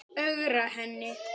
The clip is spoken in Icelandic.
Ögra henni.